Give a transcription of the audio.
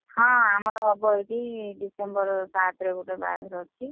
ହଁ ଆମର ହବ ଏଇଠି December ସାତରେ ଗୋଟେ ବାହାଘର ଅଛି।